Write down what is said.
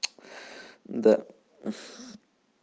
да